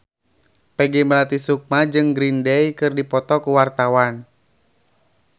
Peggy Melati Sukma jeung Green Day keur dipoto ku wartawan